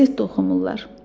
Qəzet oxumurular.